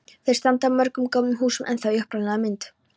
Þar standa mörg gömul hús ennþá í upprunalegri mynd.